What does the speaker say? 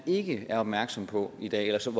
ikke er opmærksom på i dag eller som